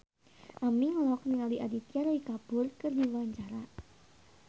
Aming olohok ningali Aditya Roy Kapoor keur diwawancara